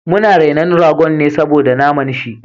Mun rena ragon ne saboda na naman shi